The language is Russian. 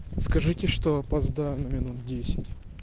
скажите что опоздаю на минут десять